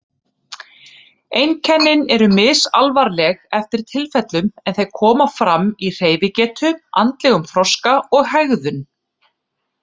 Einkennin eru misalvarleg eftir tilfellum en þau koma fram í hreyfigetu, andlegum þroska og hegðun.